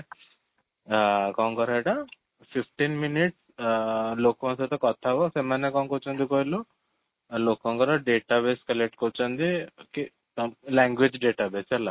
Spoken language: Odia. ଅ କ'ଣ କର ସେଟା, fifteen minute ଅ ଲୋକଙ୍କ ସହିତ କଥା ହୁଅ ସେମାନେ କ'ଣ କହୁଛନ୍ତି କହିଲୁ? ଲୋକଙ୍କର database collect କରୁଛନ୍ତି କି language database ହେଲା?